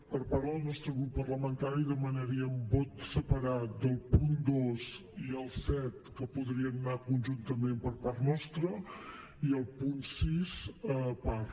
per part del nostre grup parlamentari demanaríem vot separat del punt dos i el set que podrien anar conjuntament per part nostra i el punt sis a part